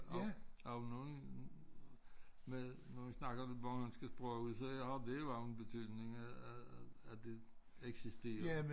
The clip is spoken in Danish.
Har har du nogen med nu vi snakker det bornholmske sprog så har det jo en betydning at at at at det eksisterer